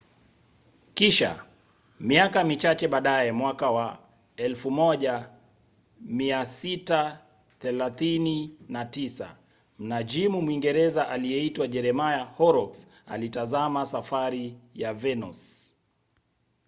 kisha miaka michache baadaye mwaka wa 1639 mnajimu mwingereza aliyeitwa jeremiah horrocks alitazama safari ya venus